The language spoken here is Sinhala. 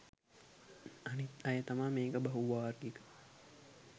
අනිත් අය තමා මේක බහු වාර්ගික